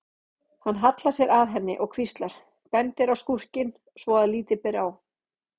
Hann hallar sér að henni og hvíslar, bendir á skúrkinn svo að lítið ber á.